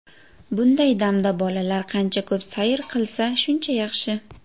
Bunday damda bolalar qancha ko‘p sayr qilsa, shuncha yaxshi.